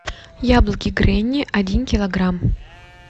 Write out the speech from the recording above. яблоки гренни один килограмм